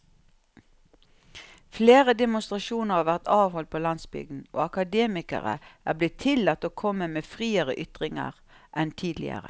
Flere demonstrasjoner har vært avholdt på landsbygden, og akademikere er blitt tillatt å komme med friere ytringer enn tidligere.